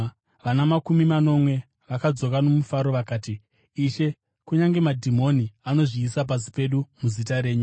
Vana makumi manomwe vakadzoka nomufaro vakati, “Ishe, kunyange madhimoni anozviisa pasi pedu muzita renyu.”